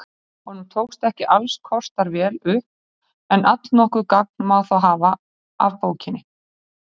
Honum tókst ekki alls kostar vel upp en allnokkuð gagn má þó hafa af bókinni.